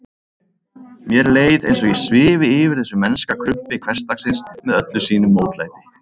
Mér leið eins og ég svifi yfir þessu mennska krumpi hversdagsins með öllu sínu mótlæti.